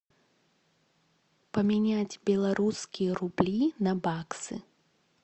поменять белорусские рубли на баксы